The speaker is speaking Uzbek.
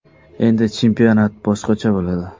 Endi chempionat boshqacha bo‘ladi.